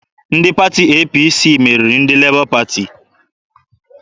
Ndị pati APC meriri ndị Lebọ Pati.